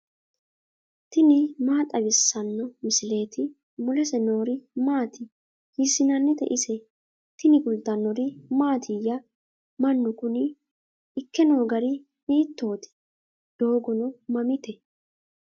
tini maa xawissanno misileeti ? mulese noori maati ? hiissinannite ise ? tini kultannori mattiya? Mannu kunni ikke noo gari hiittoti? doogonno mamitte?